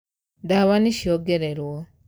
ndawa nīciongererwo.